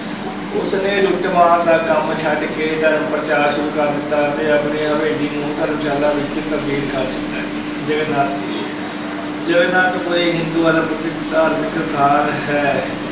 ਉਸਨੇ ਲੁਟੱਮਾਰ ਦਾ ਕੰਮ ਛੱਡ ਕੇ ਧਰਮ ਪ੍ਰਚਾਰ ਸ਼ੁਰੂ ਕਰ ਦਿੱਤਾ ਅਤੇ ਆਪਣੀ ਹਵੇਲੀ ਨੂੰ ਧਰਮਸ਼ਾਲਾ ਵਿੱਚ ਤਬਦੀਲ ਕਰ ਦਿੱਤਾ, ਜਗਨਨਾਥ ਪੁਰੀ ਜਗਨਨਾਥ ਪੁਰੀ ਹਿੰਦੂਆਂ ਦਾ ਪ੍ਰਸਿੱਧ ਧਾਰਮਿਕ ਸਥਾਨ ਹੈ,